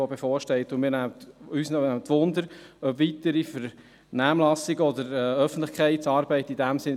Uns interessiert, ob in diesem Sinn weitere Vernehmlassungen oder Öffentlichkeitsarbeit geplant sind